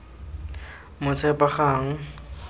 motshepagang